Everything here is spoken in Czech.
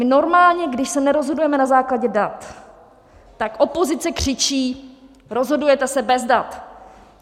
My normálně, když se nerozhodujeme na základě dat, tak opozice křičí: rozhodujete se bez dat!